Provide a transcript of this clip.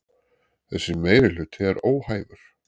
Þessi meirihluti er óhæfur